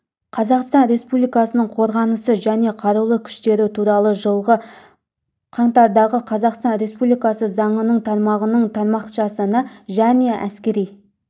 қазақстан республикасының қорғанысы және қарулы күштері туралы жылғы қаңтардағы қазақстан республикасы заңының тармағының тармақшасына және әскери